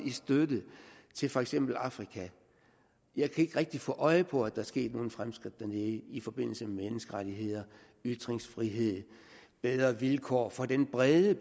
i støtte til for eksempel afrika og jeg kan ikke rigtig få øje på at der er sket nogen fremskridt dernede i forbindelse med menneskerettigheder ytringsfrihed bedre vilkår for den brede